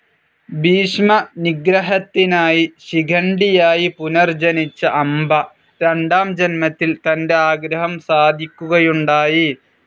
ഭീഷ്മ നിഗ്രഹത്തിനായി ശിഖണ്ഡിയായി പുനർജ്ജനിച്ച അംബ രണ്ടാം ജന്മത്തിൽ തൻ്റെ ആഗ്രഹം സാധിക്കുകയുണ്ടായി